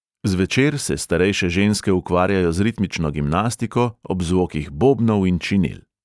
Zvečer se starejše ženske ukvarjajo z ritmično gimnastiko ob zvokih bobnov in činel.